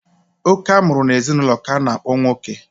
Oke a mụrụ n'ezinụlọ k'a na-akpọ nwoke.